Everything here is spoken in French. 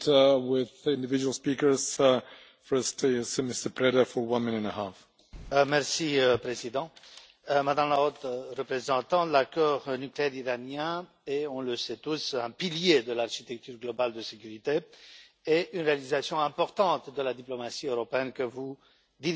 Monsieur le Président, Madame la Haute Représentante, l'accord nucléaire iranien est, on le sait tous, un pilier de l'architecture globale de sécurité et une réalisation importante de la diplomatie européenne que vous dirigez. Lors de la mission AFET DROI